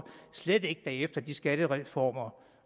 slet ikke efter de skattereformer